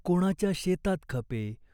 कोणाच्या शेतात खपे.